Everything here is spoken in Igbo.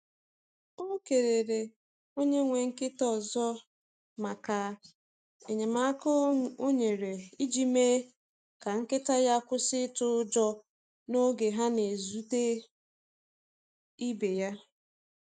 O kelele onye nwe nkịta ọzọ maka enyemaka o nyere iji mee ka nkịta ya kwụsị itụ ụjọ n’oge ha na-ezute ibe ya.